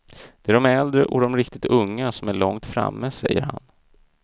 Det är de äldre och de riktigt unga som är långt framme, säger han.